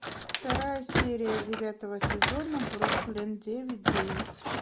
вторая серия девятого сезона бруклин девять девять